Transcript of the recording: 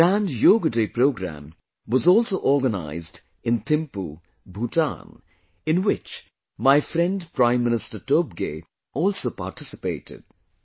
A grand Yoga Day program was also organized in Thimpu, Bhutan, in which my friend Prime Minister Tobgay also participated